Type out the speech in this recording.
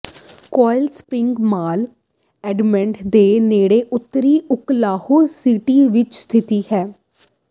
Quail Springs mall Edmond ਦੇ ਨੇੜੇ ਉੱਤਰੀ ਓਕਲਾਹੋਮਾ ਸਿਟੀ ਵਿੱਚ ਸਥਿਤ ਹੈ